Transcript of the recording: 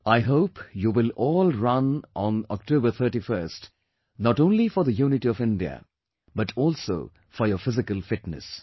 I hope you will all run on October 31st not only for the unity of India, but also for your physical fitness